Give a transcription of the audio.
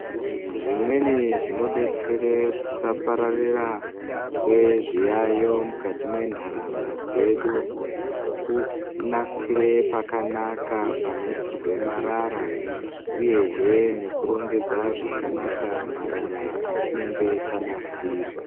Zvimweni zvonodetsere kusapararira kwezviyaiyo mukati mentaraunda dzedu kunasire pakanaka panoisirwe marara uyehe nekurongedza zvakanaka marara atinenga tanasira.